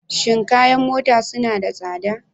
Shin kayan mota suna da tsada?